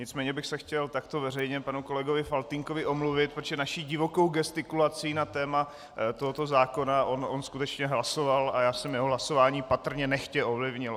Nicméně bych se chtěl takto veřejně panu kolegovi Faltýnkovi omluvit, protože naší divokou gestikulací na téma tohoto zákona on skutečně hlasoval a já jsem jeho hlasování patrně nechtě ovlivnil.